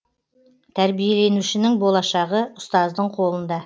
тәрбиеленушінің болашағы ұстаздың қолында